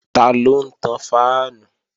Taló ń tan fáànù?